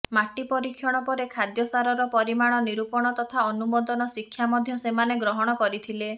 ମାଟି ପରୀକ୍ଷଣ ପରେ ଖାଦ୍ୟ ସାରର ପରିମାଣ ନିରୂପଣ ତଥା ଅନୁମୋଦନ ଶିକ୍ଷା ମଧ୍ୟ ସେମାନେ ଗ୍ରହଣ କରିଥିଲେ